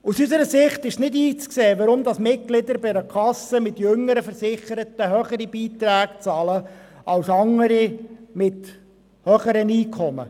Aus unserer Sicht ist es nicht einzusehen, weshalb Mitglieder bei einer Kasse mit jüngeren Versicherten höhere Beiträge zahlen als andere mit höheren Einkommen.